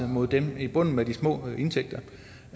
mod dem i bunden med de små indtægter